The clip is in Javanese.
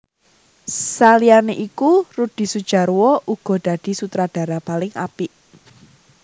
Saliyané iku Rudy Sudjarwo uga dadi sutradara paling apik